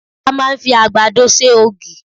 A máà ń fi àgbàdo ṣe ògì.